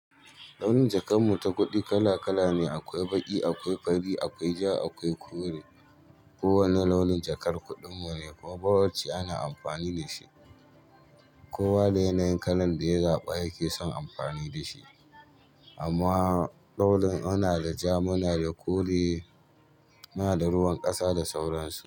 Launin jakar mu ta kuɗi kala kala ne, akwai baƙi, akwai fari, akwai ja, akwai kore. Kowane launin jakar kuɗin mu ne kuma bawacce ana amfani da shi. Kowa da yanayin kalan da ya zaɓa yake son amfani da shi. Amma ɗaurin ana da ja, muna da kore, muna da ruwan ƙasa da sauransu.